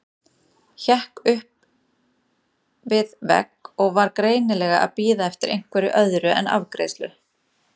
Hékk upp við vegg og var greinilega að bíða eftir einhverju öðru en afgreiðslu.